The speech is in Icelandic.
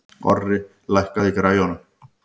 Orri, lækkaðu í græjunum.